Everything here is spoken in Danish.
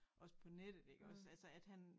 Også på nettet iggås altså at han